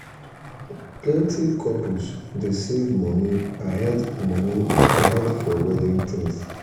plenty couples dey save money ahead money ahead for wedding things.